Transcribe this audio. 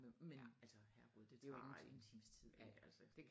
Men altså herre gud det tager en times tid ik altså